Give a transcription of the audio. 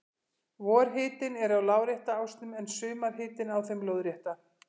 Vorhitinn er á lárétta ásnum en sumarhitinn á þeim lóðrétta.